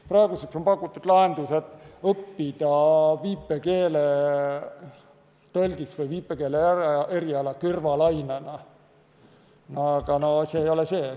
Praegu on pakutud lahendus, et viipekeeletõlgiks või viipekeele eriala saab õppida kõrvalainena, aga see ei ole see.